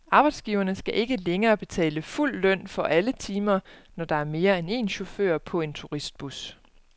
Arbejdsgiverne skal ikke længere betale fuld løn for alle timer, når der er mere end én chauffør på en turistbus.